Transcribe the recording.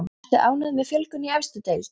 Ertu ánægð með fjölgun í efstu deild?